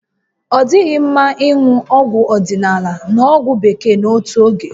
Ọ dịghị mma ịṅụ ọgwụ odịnaala na ọgwụ Bekee n'otu oge